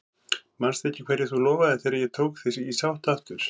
Manstu ekki hverju þú lofaðir þegar ég tók þig í sátt aftur?